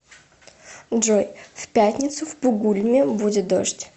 джой в пятницу в бугульме будет дождь